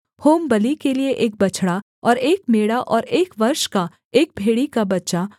होमबलि के लिये एक बछड़ा और एक मेढ़ा और एक वर्ष का एक भेड़ी का बच्चा